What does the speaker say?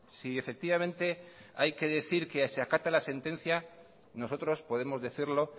si efectivamente hay que decir que se acata la sentencia nosotros podemos decirlo